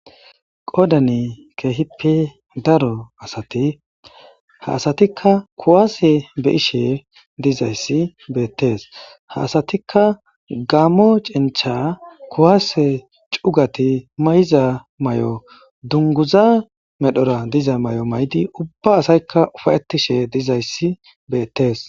qodani kehipi daro asati haasatikka kuwaase be'ishe dizayssi beettees haasatikka gammo cincha kuwase cugati may7iza may7o dunguza medhora diza may7o maydi ubba asaykka ufayetishe dizayssi beettees